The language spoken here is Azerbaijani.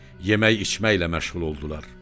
Yemək-içməklə məşğul oldular.